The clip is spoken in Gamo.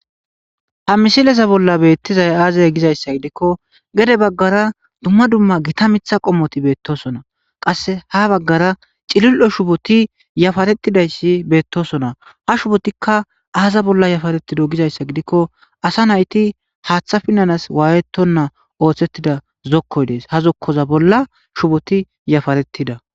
ha misileza bolla beettizay aazay gizayssa gidikko gede baggara dumma dumma gita mitha qommoti beettosona qasse ha baggara cilil7o shuboti yafaretidayssi beettosona ha shubotikka aaza bolla yafaretido gizayssa gidikko asa nayti haaththa pinnanas waayettonna ooththettida zokkoy dees ha zokkoza bolla shuboti yafaretida